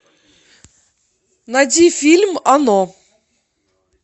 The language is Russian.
найди фильм оно